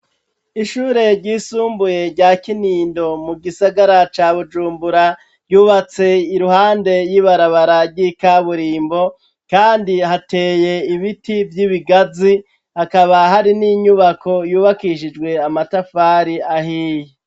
Ishure ryisumbuye rya Kinindo mu gisagara ca Bujumbura ryubatse iruhande y'ibarabara ryi kaburimbo kandi hateye ibiti by'ibigazi akaba hari n'inyubako yubakishijwe amatafari ahiye.